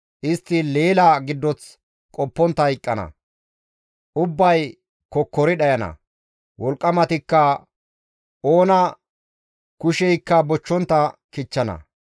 Istti leela giddoth qoppontta hayqqana; ubbay kokkori dhayana; wolqqamatikka oona kusheykka bochchontta kichchana.